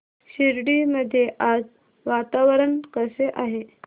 शिर्डी मध्ये आज वातावरण कसे आहे